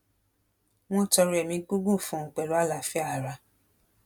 wọn tọrọ ẹmí gígùn fún un pẹlú àlàáfíà ara